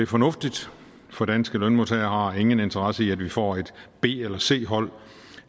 fornuftigt for danske lønmodtagere har ingen interesse i at vi får et b eller et c hold